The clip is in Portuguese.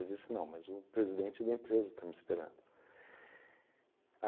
Eu disse, não, mas o presidente da empresa está me esperando.